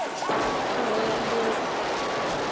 ṱhohoyanḓou